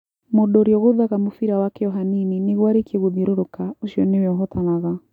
Mũndũ ũrĩa ũgũthaga mũbira wake o hanini nĩguo arĩkie gũthiũrũrũka ũcio nĩwe ũhootanaga.